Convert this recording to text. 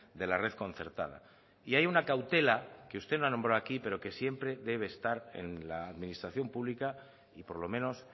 de la red concertada y hay una cautela que usted no ha nombrado aquí pero que siempre debe estar en la administración pública y por lo menos